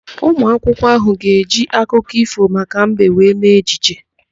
Ụmụakwụkwọ ahụ ga-eji akụkọ ífò maka mbe wee mee ejije.